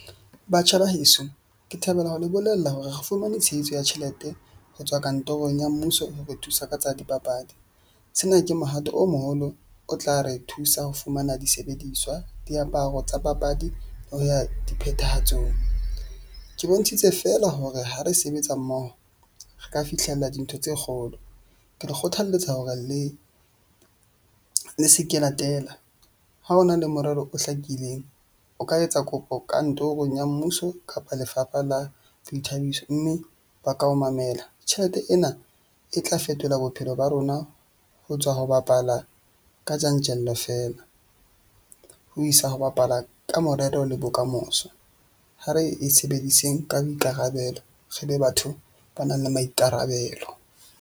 Batjha ba heso, ke thabela ho le bolella hore re fumane tshehetso ya tjhelete ho tswa kantorong ya mmuso ho re thusa ka tsa dipapadi. Sena ke mohato o moholo o tla re thusa ho fumana disebediswa diaparo tsa papadi ho ya diphethahatsong. Ke bontshitse feela hore ha re sebetsa mmoho, re ka fihlella dintho tse kgolo. Ke le kgothaletsa hore le se ke la tela. Ha ho na le morero o hlakileng, o ka etsa kopo kantorong ya mmuso kapa Lefapha la Boithabiso. Mme ba ka o mamela. Tjhelete ena e tla fetola bophelo ba rona ho tswa ho bapala ka tjantjello feela ho isa ho bapala ka morero le bokamoso. Ha re e sebediseng ka boikarabelo re be batho ba nang le maikarabelo.